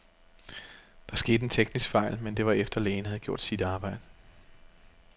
Der skete en teknisk fejl, men det var efter, lægen havde gjort sit arbejde.